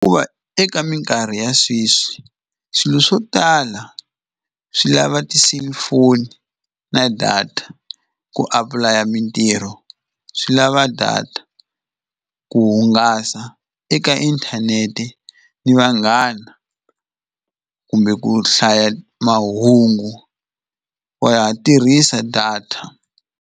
eka minkarhi ya sweswi swilo swo tala swi lava ti-cellphone na data, ku apulaya mintirho swi lava data ku hungasa eka inthanete ni vanghana kumbe ku hlaya mahungu wa ha tirhisa data.